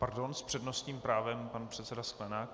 Pardon, s přednostním právem pan předseda Sklenák.